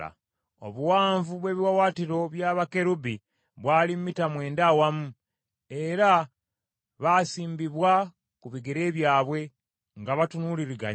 Obuwanvu bw’ebiwaawaatiro bya bakerubi bwali mita mwenda awamu, era baasimbibwa ku bigere byabwe, nga batunuuliraganye.